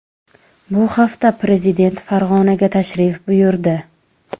Bu hafta prezident Farg‘onaga tashrif buyurdi .